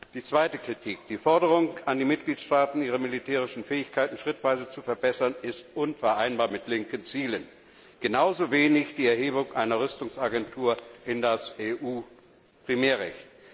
Die zweite Kritik Die Forderung an die Mitgliedstaaten, ihre militärischen Fähigkeiten schrittweise zu verbessern, ist unvereinbar mit linken Zielen, genauso wie die Verankerung einer Rüstungsagentur im EU Primärrecht.